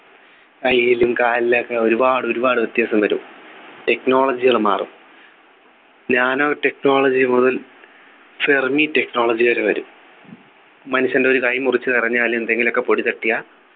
കയ്യിലും കാലിലൊക്കെ ഒരുപാടൊരുപാട് വ്യത്യാസം വരും technology കള് മാറും nano technology മുതൽ fermi technology വരെ വരും മനുഷ്യൻ്റെ ഒരു കൈ മുറിച്ചു കളഞ്ഞാൽ എന്തെങ്കിലും ഒക്കെ പൊടി തട്ടിയാ